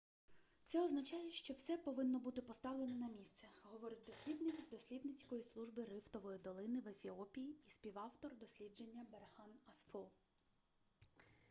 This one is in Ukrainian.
це означає що все повинно бути поставлено на місце - говорить дослідник з дослідницької служби рифтової долини в ефіопії і співавтор дослідження берхан асфо